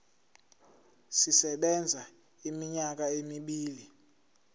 sisebenza iminyaka emibili